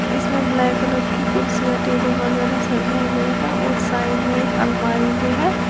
इसमें black colour की कुर्सियां टेबल वगैरा सजाए हुए हैं और साइड में एक अलमारी भी है।